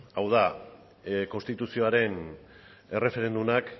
hau da konstituzioren erreferendumak